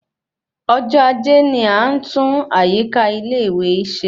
Ọjọ ajé ni a tun àyíká ilé ìwé se